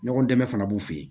Ɲɔgɔn dɛmɛ fana b'u fɛ yen